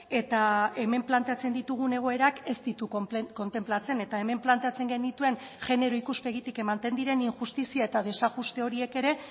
eta hemen planteatzen ditugun egoerak ez ditu kontenplatzen eta hemen planteatzen genituen genero ikuspegitik ematen diren injustizia eta desajuste horiek ere